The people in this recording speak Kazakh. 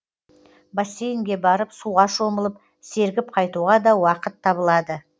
бассейнге барып суға шомылып сергіп қайтуға да уақыт табылады